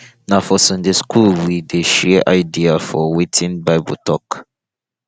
na for sunday school we dey share idea for wetin bible tok